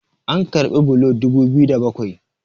an karbi bulo dubu biyu da bakwai